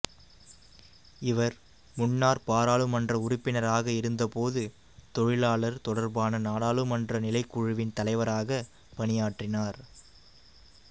இவர் முன்னர் பாராளுமன்ற உறுப்பினராக இருந்தபோது தொழிலாளர் தொடர்பான நாடாளுமன்ற நிலைக்குழுவின் தலைவராக பணியாற்றினார்